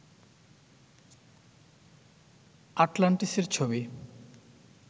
আটলান্টিসের ছবি